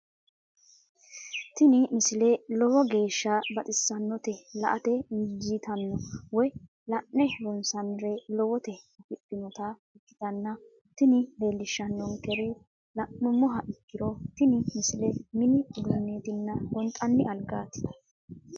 tini misile lowo geeshsha baxissannote la"ate injiitanno woy la'ne ronsannire lowote afidhinota ikkitanna tini leellishshannonkeri la'nummoha ikkiro tini misile mini uduunneetinna gonxanni algaati.